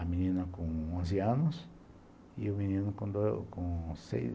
A menina com onze anos e o menino com seis